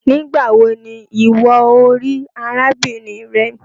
nigbawo ní ìwo o rí arábìnrin rẹ?